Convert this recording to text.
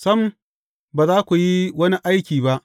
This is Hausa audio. Sam ba za ku yi wani aiki ba.